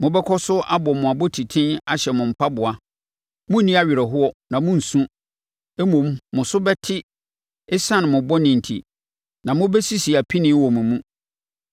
Mobɛkɔ so abɔ mo abɔtiten ahyɛ mo mpaboa. Morenni awerɛhoɔ na morensu, mmom mo so bɛte ɛsiane mo bɔne enti, na mobɛsisi apinie wɔ mo mu.